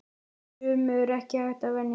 Sumu er ekki hægt að venjast.